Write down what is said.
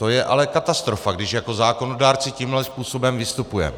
To je ale katastrofa, když jako zákonodárci tímhle způsobem vystupujeme.